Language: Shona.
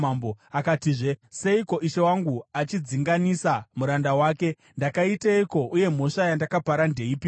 Akatizve, “Seiko ishe wangu achidzinganisa muranda wake? Ndakaiteiko, uye mhosva yandakapara ndeipiko?